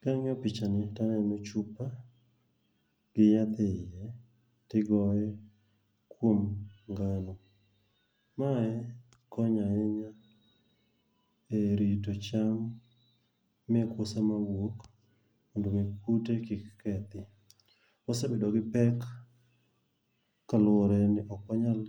Kang'iyo pich ani, taneno chupa gi yath e iye, to igoye kuom ngano. Mae konyo ahinya e rito cham mekwa sama wuok mondo omi kute kik kethi. Wasebedo gi pek kaluwore ni ok wanyal